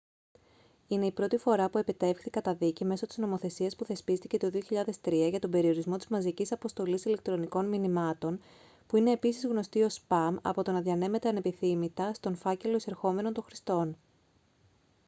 είναι η πρώτη φορά που επετεύχθη καταδίκη μέσω της νομοθεσίας που θεσπίστηκε το 2003 για τον περιορισμό της μαζικής αποστολής ηλεκτρονικών μηνυμάτων που είναι επίσης γνωστή ως σπαμ από το να διανέμεται ανεπιθύμητα στον φάκελο εισερχομένων των χρηστών